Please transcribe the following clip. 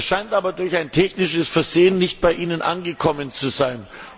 Das scheint aber durch ein technisches Versehen nicht bei Ihnen angekommen zu sein.